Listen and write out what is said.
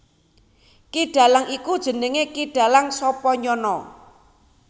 Ki Dalang iku jenengé Ki Dalang Sapanyana